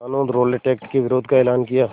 क़ानून Rowlatt act के विरोध का एलान किया